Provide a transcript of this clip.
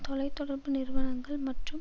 தொலை தொடர்பு நிறுவனங்கள் மற்றும்